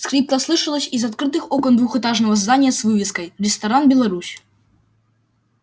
скрипка слышалась из открытых окон двухэтажного здания с вывеской ресторан беларусь